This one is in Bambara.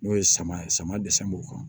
N'o ye sama sama dɛsɛ b'u kan